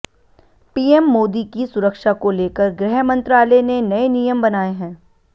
PM Modi की सुरक्षा को लेकर गृह मंत्रालय ने नए नियम बनाए हैं